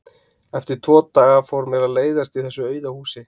Eftir tvo daga fór mér að leiðast í þessu auða húsi.